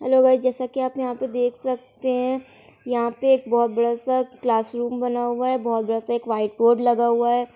Hello guys जैसा कि आप देख सकते हैं। यहाँ पे एक बहोत बड़ा सा क्लास रूम बना हुआ है। बहोत बड़ा सा एक व्हाइट बोर्ड लगा हुआ है।